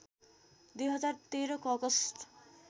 २०१३ को अगस्ट